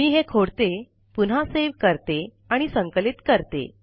मी हे खोडते पुन्हा सेव्ह करते आणि संकलित करते